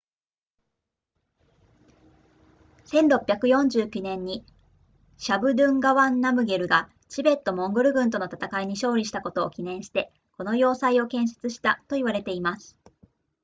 1649年にシャブドゥンガワンナムゲルがチベットモンゴル軍との戦いに勝利したことを記念してこの要塞を建設したと言われています